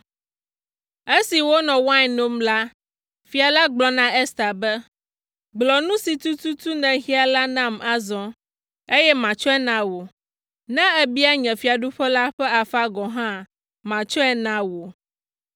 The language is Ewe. Esi wonɔ wain nom la, fia la gblɔ na Ester be, “Gblɔ nu si tututu nèhiã la nam azɔ, eye matsɔe na wò, ne èbia nye fiaɖuƒe la ƒe afã gɔ̃ hã, matsɔe na wò!”